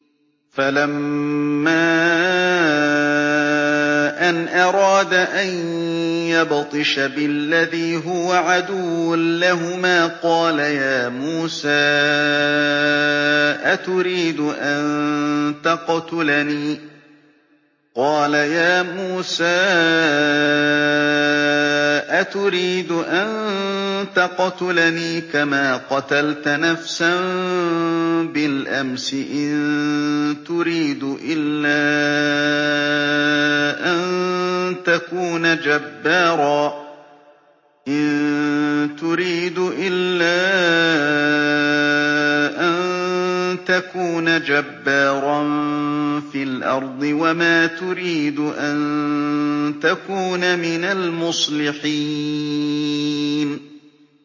فَلَمَّا أَنْ أَرَادَ أَن يَبْطِشَ بِالَّذِي هُوَ عَدُوٌّ لَّهُمَا قَالَ يَا مُوسَىٰ أَتُرِيدُ أَن تَقْتُلَنِي كَمَا قَتَلْتَ نَفْسًا بِالْأَمْسِ ۖ إِن تُرِيدُ إِلَّا أَن تَكُونَ جَبَّارًا فِي الْأَرْضِ وَمَا تُرِيدُ أَن تَكُونَ مِنَ الْمُصْلِحِينَ